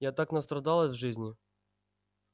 я так настрадалась в жизни